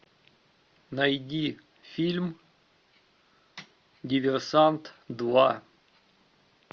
найди фильм диверсант два